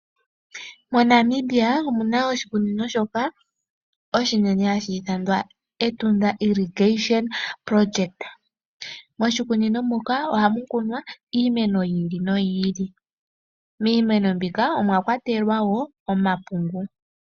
MoNamibia omuna oshikunino oshinene shoka hashi ithanwa Etunda. Moshikunini muka oha mu kunwa iimeno yiili noyiili. Miimeno muka omwakwatelwa omapungu.